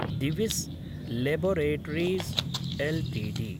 Divi's laboratories LTD